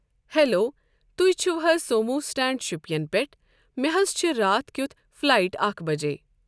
Hello تُہۍ چھو حظ سومو سٹینڈ شُپین پیٹھ، مٚے حظ چھِ راتھ کیُتھ فلایٹ اکھ بجے۔